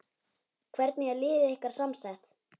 Hvernig er liðið ykkar samsett?